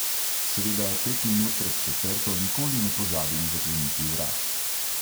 Seveda pet minut pred četrto nikoli ne pozabim zakleniti vrat.